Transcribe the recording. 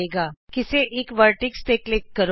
ਹੁਣ ਕਿਸੇ ਇਕ ਸਿੱਖਰ ਤੇ ਕਲਿਕ ਕਰੋ